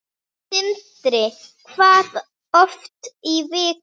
Sindri: Hvað oft í viku?